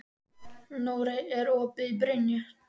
Nóri, er opið í Brynju?